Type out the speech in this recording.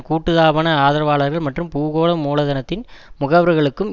கூட்டு தாபன ஆதரவாளர்கள் மற்றும் பூகோள மூலதனத்தின் முகவர்களுக்கும்